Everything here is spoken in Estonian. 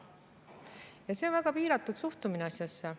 Ja see on väga piiratud suhtumine asjasse.